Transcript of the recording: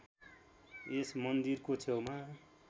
यस मन्दिरको छेउमा